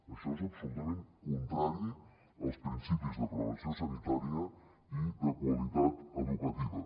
això és absolutament contrari als principis de prevenció sanitària i de qualitat educativa